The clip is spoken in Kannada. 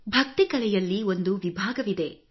ಭಕ್ತಿ ಕಲೆಯಲ್ಲಿ ಒಂದು ವಿಭಾಗವಿದೆ